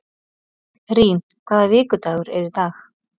Rín, hvaða vikudagur er í dag?